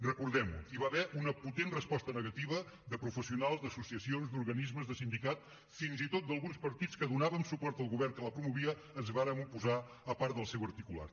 recordem ho hi va haver una potent resposta negativa de professionals d’associacions d’organismes de sindicat fins i tot d’alguns partits que donàvem suport al govern que la promovia ens vàrem oposar a part del seu articulat